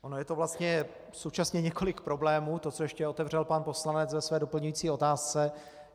Ono je to vlastně současně několik problémů, to, co ještě otevřel pan poslanec ve své doplňující otázce.